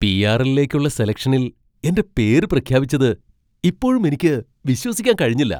പി.ആർ.എല്ലിലേക്കുള്ള സെലക്ഷനിൽ എന്റെ പേര് പ്രഖ്യാപിച്ചത് ഇപ്പോഴും എനിക്ക് വിശ്വസിക്കാൻ കഴിഞ്ഞില്ല!